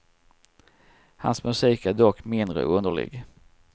Hans musik är dock mindre underlig.